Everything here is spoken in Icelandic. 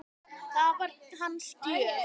Það var hans gjöf.